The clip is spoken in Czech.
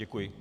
Děkuji.